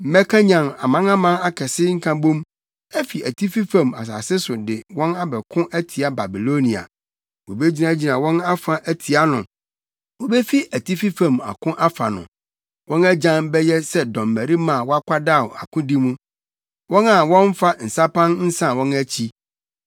Mɛkanyan amanaman akɛse nkabom afi atifi fam asase so de wɔn abɛko atia Babilonia. Wobegyinagyina wɔn afa atia no, wobefi atifi fam ako afa no. Wɔn agyan bɛyɛ sɛ dɔmmarima a wɔakwadaw akodi mu, wɔn a wɔmmfa nsapan nsan wɔn akyi.